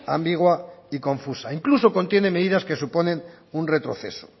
ambigua y confusa incluso contiene medidas que suponen un retroceso